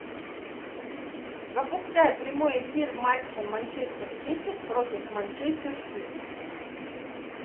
запускай прямой эфир матча манчестер сити против манчестер сити